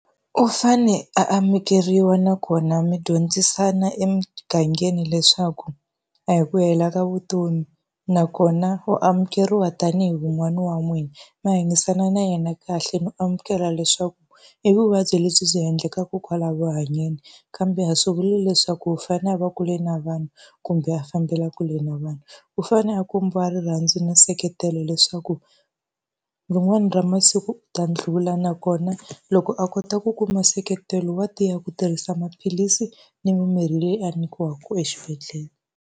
U fanele a amukeriwa nakona mi dyondzisana emugangeni leswaku a hi ku hela ka vutomi, nakona u amukeriwa tanihi wun'wani wa n'wina. Mi hanyisana na yena kahle no amukela leswaku i vuvabyi lebyi byi endlekaka kwala ku hanyeni. Kambe a swi vuli leswaku u fanele a va kule na vanhu kumbe a fambela kule na vanhu, u fanele a kombiwa rirhandzu na nseketelo leswaku ku rin'wani ra masiku u ta ndlhula nakona loko a kota ku kuma nseketelo, wa tiya ku tirhisa maphilisi ni mimirhi leyi a nyikiweke exibedhlele.